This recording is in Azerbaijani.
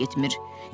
məktəbə getmir.